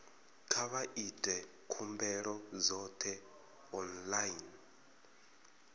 kha vha ite khumbelo dzoṱhe online